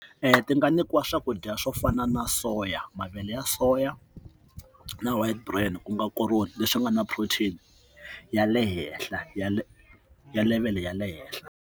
Ti nga nyikiwa swakudya swo fana na soya mavele ya soya na wa brand ku nga koroni leswi nga na protein ya le henhla ya le ya level ya le henhla.